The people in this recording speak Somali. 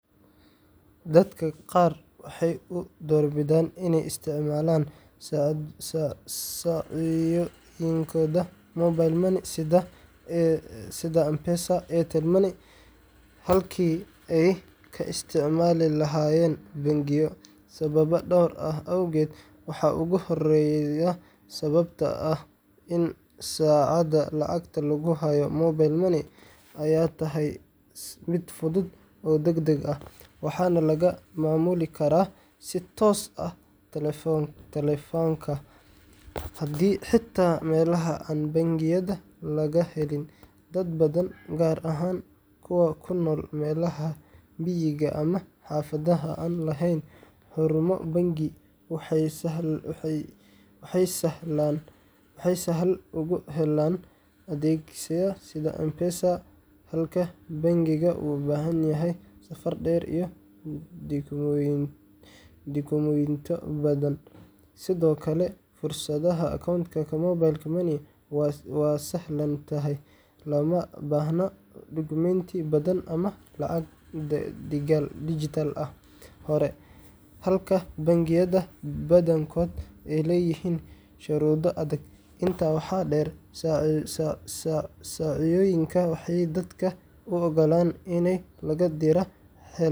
Dadka qaar waxay u doorbidaan inay isticmaalaan saacoyinkooda mobile money sida M-Pesa, Airtel Money, iwm halkii ay ka isticmaali lahaayeen bangiyo, sababo dhowr ah awgood: Waxaa ugu horreeya sababta ah in saacada lacagta lagu hayo mobile money ay tahay mid fudud oo degdeg ah, waxaana laga maamuli karaa si toos ah taleefanka, xitaa meelaha aan bangiyada laga helin. Dad badan, gaar ahaan kuwa ku nool meelaha miyiga ama xaafadaha aan lahayn xarumo bangi, waxay sahal ugu helaan adeegyada sida M-Pesada halka bangigu u baahan yahay safar dheer iyo dukumentiyo badan. Sidoo kale, furashada accountka mobile money waa sahlan tahay, looma baahna dukumeenti badan ama lacag dhigaal hore, halka bangiyada badankooda ay leeyihiin shuruudo adag. Intaa waxaa dheer, saacoyinku waxay dadka u oggolaadaan inay laga diraan.